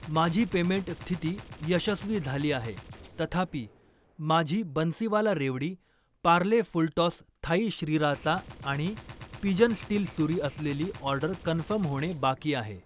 माझी पेमेंट स्थिती यशस्वी झाली आहे, तथापि माझी बन्सीवाला रेवडी, पार्ले फुलटॉस थाई श्रीराचा आणि पिजन स्टील सुरी असलेली ऑर्डर कन्फर्म होणे बाकी आहे.